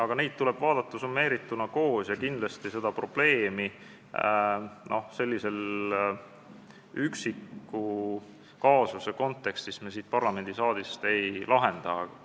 Kuid neid asju tuleb vaadata summeerituna ja kindlasti seda probleemi selle üksiku kaasuse kontekstis me siit parlamendisaalist ei lahenda.